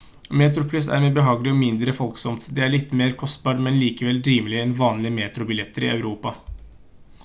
metroplus er mer behagelig og mindre folksomt det er litt mer kostbart men likevel rimeligere enn vanlige metrobilletter i europa